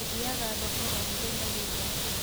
ũthiaga thoko o mũthenya gwĩka atia?